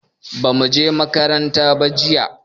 bamu je makaranta ba jiya